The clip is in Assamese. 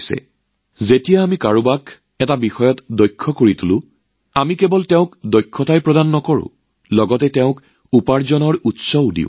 আমি যেতিয়া কাৰোবাক এক দক্ষতাৰ প্ৰশিক্ষণ দিওঁ তেতিয়া আমি মানুহজনক কেৱল সেই দক্ষতা নিশকাও আমি আয়ৰ উৎসও প্ৰদান কৰোঁ